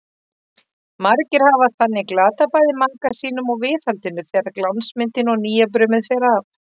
Margir hafa þannig glatað bæði maka sínum og viðhaldinu þegar glansmyndin og nýjabrumið fer af.